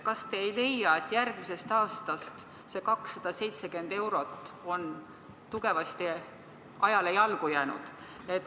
Kas te ei leia, et järgmisest aastast on see 270 eurot tugevasti ajale jalgu jäänud?